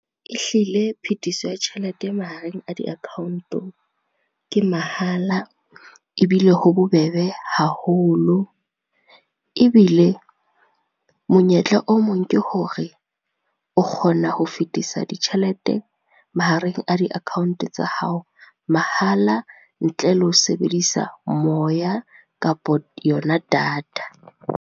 Ehlile phethiso ya tjhelete e mahareng a di-account-o, ke mahala ebile ho bobebe haholo, ebile monyetla o mong ke hore o kgona ho fetisa ditjhelete mahareng a di-account tsa hao mahala ntle le ho sebedisa moya kapo yona data.